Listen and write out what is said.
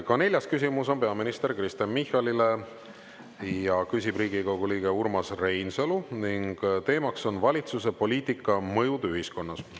Ka neljas küsimus on peaminister Kristen Michalile ja küsib Riigikogu liige Urmas Reinsalu ning teemaks on "Valitsuse poliitika mõjud ühiskonnas".